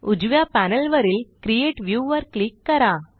उजव्या पॅनेलवरील create view वर क्लिक करा